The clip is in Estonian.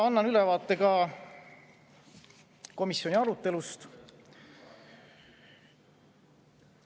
Annan ülevaate ka komisjoni arutelust.